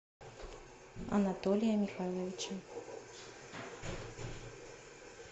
анатолия михайловича